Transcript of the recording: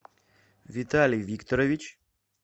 виталий викторович